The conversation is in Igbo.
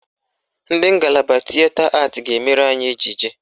Ndị ngalaba Tịeta Atị ga-emere anyị ejije